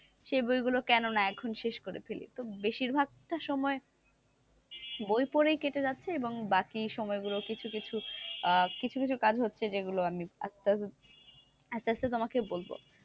সে বইগুলো কেননা এখন শেষ করে ফেলি, তো বেশিরভাগ টা সময় বই পড়েই কেটে যাচ্ছে এবং বাকি সময় গুলো কিছু কিছু আহ কিছু কিছু কাজ হচ্ছে যেগুলো আমি আস্তে আস্তে আস্তে আস্তে তোমাকে বলবো,